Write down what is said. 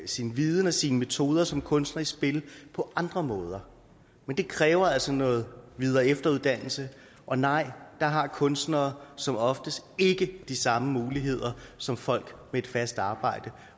sin viden og sine metoder som kunstner i spil på andre måder men det kræver altså noget videre og efteruddannelse og nej der har kunstnere som oftest ikke de samme muligheder som folk med et fast arbejde